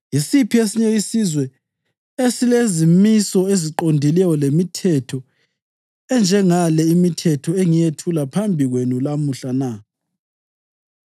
Yisiphi esinye isizwe esilezimiso eziqondileyo lemithetho enjengale imithetho engiyethula phambi kwenu lamuhla na?